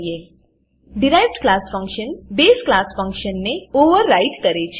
derived derived class function બસે base class ફંક્શનને override કરે છે